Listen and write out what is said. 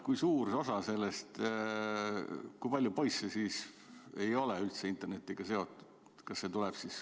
Kui suur osa, kui palju poisse siis ei ole üldse internetiga seotud?